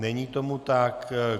Není tomu tak.